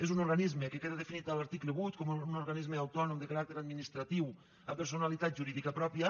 és un organisme que queda definit en l’article vuit com un organisme autònom de caràcter administratiu amb personalitat jurídica pròpia